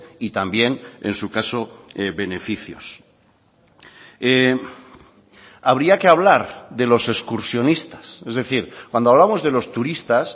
y también en su caso beneficios habría que hablar de los excursionistas es decir cuando hablamos de los turistas